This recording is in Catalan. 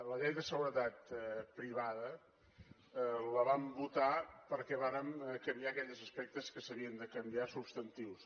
la llei de seguretat privada la vam votar perquè vàrem canviar aquells aspectes que s’havien de canviar substantius